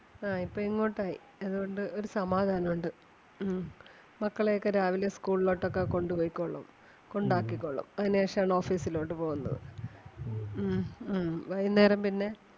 ആ ഇപ്പം ഇങ്ങോട്ട് ആയി അതുകൊണ്ട് ഒരു സമാധാനം ഒണ്ട്. ഉം മക്കളെ ഒക്കെ രാവിലെ school ലോട്ട് ഒക്കെ കൊണ്ട് പൊയ്‌ക്കോളും കൊണ്ട് ആക്കികോളും. അതിന് ശേഷം ആണ് office ലോട്ട് പോകുന്നത്. ഉം ഉം വൈകുന്നേരം പിന്നെ